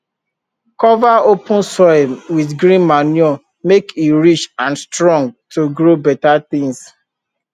cover open soil with green manure make e rich and strong to grow better things